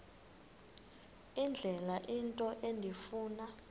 indlela into endifuna